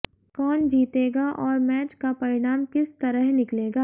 कौन जीतेगा और मैच का परिणाम किस तरह निकलेगा